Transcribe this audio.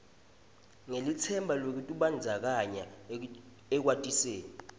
ngelitsemba lwekutibandzakanya ekwatiseni